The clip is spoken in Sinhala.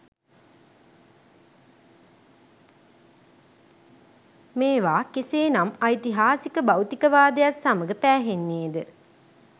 මේවා කෙසේ නම් ඓතිහාසික භෞතිකවාදයත් සමඟ පෑහෙන්නේ ද?